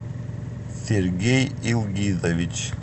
сергей илгизович